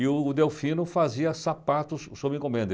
E o Delfino fazia sapatos sob encomenda.